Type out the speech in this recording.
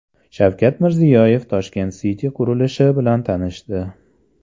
Shavkat Mirziyoyev Tashkent City qurilishi bilan tanishdi.